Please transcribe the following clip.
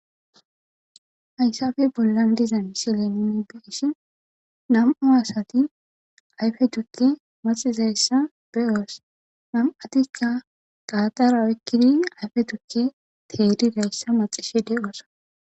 Hayssappe bollan diza misile nuun beyishin nam'u asati ayfe tuuke macizayssa beyos nam'attikka daatara oykiddi ayfe tuuke maxishe dizayssa be'os.